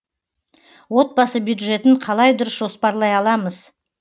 отбасы бюджетін қалай дұрыс жоспарлай аламыз